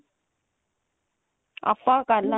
ਆਪਾਂ ਕਰ ਲਾਂਗੇ